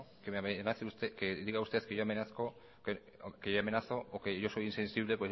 no que diga usted que yo amenazo o que yo soy insensible